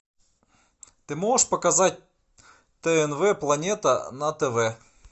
ты можешь показать тнв планета на тв